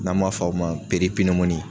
N'an m'a fɔ o ma